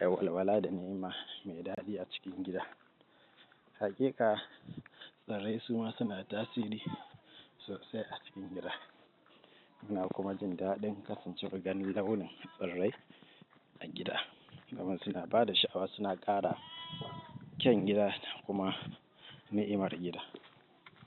rawar wala da ni'ima mai daɗi a cikin gida. Haƙiƙa tsirai su ma, suna tasiri sosai a cikin gida. Muna kuma jin daɗin kasancewar gani launin tsirai a gida, domin suna ba da sha'awa, suna ƙara kyau gida kuma ni'imar gida.